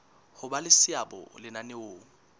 ho ba le seabo lenaneong